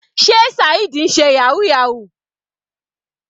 Sé Saheed ń ṣe yahoo yahoo.